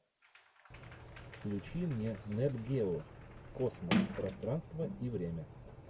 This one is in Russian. включи мне нет гео космос пространство и время